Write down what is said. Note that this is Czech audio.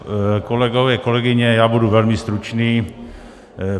Kolegové, kolegyně, já budu velmi stručný.